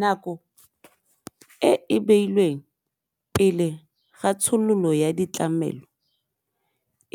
Nako e e beilweng pele ga tshololo ya ditlamelo